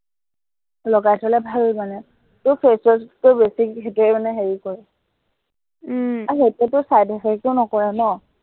লগাই থলে ভাল মানে। তোৰ face wash তকৈ বেছি সেইটোৱে মানে হেৰি কৰে আৰু সেইটোৱেটো side effect ও নকৰে ন